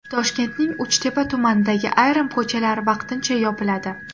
Toshkentning Uchtepa tumanidagi ayrim ko‘chalar vaqtincha yopiladi.